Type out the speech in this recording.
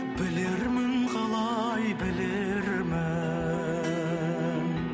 білермін қалай білермін